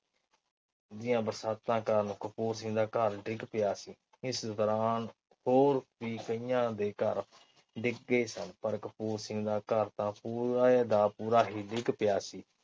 ਦੀਆ ਬਰਸਾਤਾਂ ਕਾਰਣ ਕਪੂਰ ਸਿੰਘ ਦਾ ਘਰ ਡਿਗ ਪਿਆ ਸੀ। ਇਸ ਦੌਰਾਨ ਹੋਰ ਵੀ ਕਈਆਂ ਦੇ ਘਰ ਡਿੱਗੇ ਸਨ ਪਰ ਕਪੂਰ ਸਿੰਘ ਦਾ ਘਰ ਤਾ ਪੂਰੇ ਦਾ ਪੂਰਾ ਹੀ ਡਿੱਗ ਪਿਆ ਸੀ।